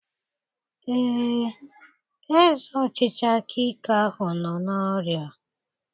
Ee, eze ọchịchị aka ike ahụ nọ n'ọrịa.